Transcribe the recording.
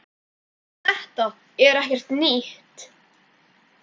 Þetta er ekkert nýtt.